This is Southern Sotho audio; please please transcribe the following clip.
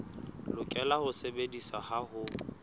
lokela ho sebediswa ha ho